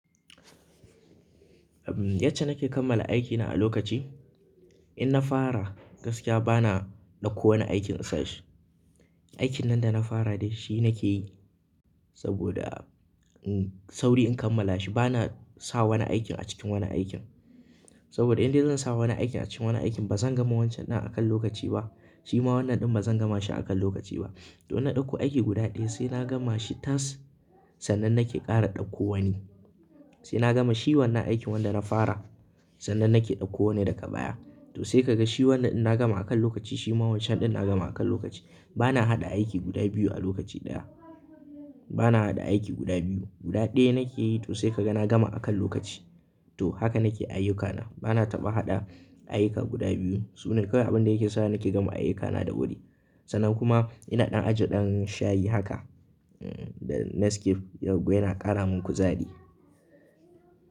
Yace nake kammala aikina a lokaci, in na fara gaskiya bana dauko wani aikin insashi. Aikin nan da na fara dai shi nake yi saboda sauri in kammala shi. Bana sa wani aikin a cikin wani aikin. Saboda in dai zan sa wani aikin a cikin wani aikin bazan gama wancan ɗin akan lokaci ba, shima wannan ɗin bazan gama shi akan lokaci ba. To na ɗauko aiki guda ɗaya sai na gama shi tas sannan nake ƙara ɗauko wani. Sai na gama shi wannan aikin wanda na fara sannan nake ɗauko wani daga baya. To sai ka ga shi wannan ɗin na gama akan lokaci shima wancan ɗin na gama akan lokaci. Bana haɗa aiki guda biyu a lokaci ɗaya. Bana haɗa aiki guda biyu. Guda ɗaya nake yi to sai ka ga na gama akan lokaci. To haka nake ayyukana. Bana taɓa haɗa ayyuka guda biyu. Sune kawai abin da yake sa nake gama ayyukana da wuri. Sannan kuma ina ɗan aji ɗan shayi haka da Nescafe yauwa yana ƙara man kuzari.